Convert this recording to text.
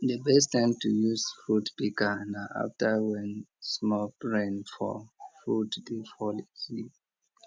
di best time to use fruit pika na afta wen small rain fall fruit dey fall easily